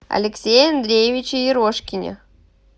алексее андреевиче ерошкине